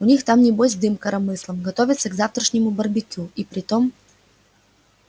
у них там небось дым коромыслом готовятся к завтрашнему барбекю и притом